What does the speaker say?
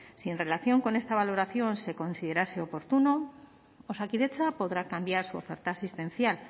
si en relación con esta valoración se considerase oportuno osakidetza podrá cambiar su oferta asistencial